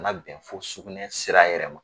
Bana bɛ bɛn fo sugunɛ sira yɛrɛ ma.